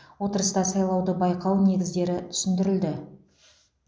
отырыста сайлауды байқау негіздері түсіндірілді